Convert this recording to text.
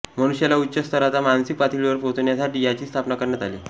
मनुष्याला उच्च स्तराच्या मानसिक पातळीवर पोहोचण्यासाठी याची स्थापणा करण्यात आली